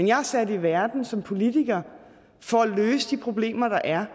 jeg sat i verden som politiker for at løse de problemer der er